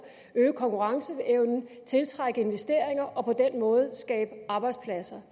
øge konkurrenceevnen tiltrække investeringer og på den måde skabe arbejdspladser